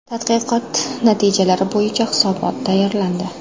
Tadqiqot natijalari bo‘yicha hisobot tayyorlandi.